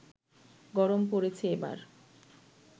গরম পড়েছে এবার